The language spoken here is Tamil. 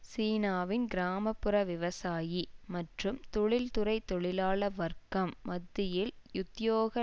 சீனாவின் கிராம புற விவசாயி மற்றும் தொழில்துறை தொழிலாள வர்க்கம் மத்தியில் உத்தியோக